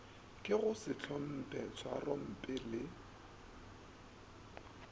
ke go sehlomphe tšhwarompe le